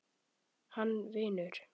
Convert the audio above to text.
Hann vinur.